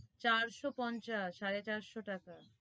চারশো পঞ্চাস সাড়ে চারশো টাকা